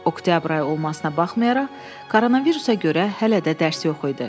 Oktyabr ayı olmasına baxmayaraq, koronavirusa görə hələ də dərs yox idi.